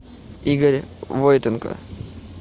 игорь войтенко